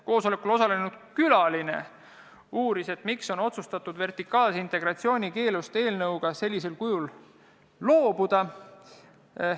Koosolekul osalenud külaline uuris, miks on otsustatud vertikaalse integratsiooni keelust sellisel kujul loobuda.